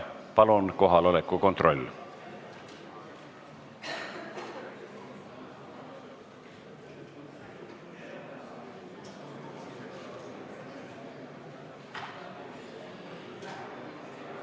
Palun kohaloleku kontroll!